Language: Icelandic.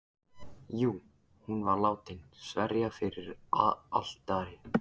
Jú, hún var látin sverja fyrir altari.